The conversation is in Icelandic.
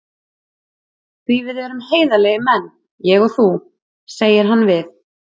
Því við erum heiðarlegir menn, ég og þú, segir hann við